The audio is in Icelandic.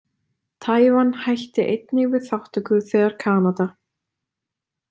Tævan hætti einnig við þátttöku þegar Kanada.